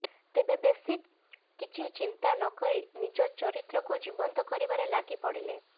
ତେବେ ବେଶୀ କିଛି ଚିନ୍ତା ନକରି ନିଜ ଚରିତ୍ରକୁ ଜୀବନ୍ତ କରିବାରେ ଲାଗି ପଡ଼ିଲେ